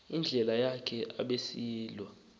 indlela yakhe abesilwa